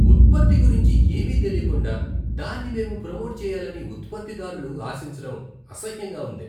ఉత్పత్తి గురించి ఏమీ తెలీకుండా దాన్ని మేము ప్రోమోట్ చెయ్యాలని ఉత్పత్తిదారులు ఆశించడం అసహ్యంగా ఉంది.